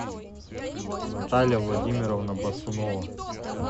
наталья владимировна бацунова